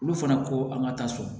Olu fana ko an ka taa so